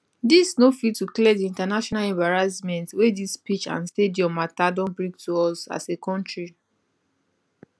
dis no fit to clear di international embarrassment wey dis pitch and stadium mata don bring to us as a kontri